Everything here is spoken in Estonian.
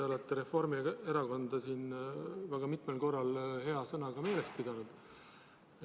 Te olete Reformierakonda siin väga mitmel korral hea sõnaga meeles pidanud.